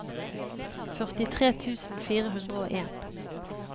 førtitre tusen fire hundre og en